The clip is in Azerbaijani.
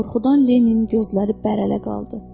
Qorxudan Leninin gözləri bərələ qaldı.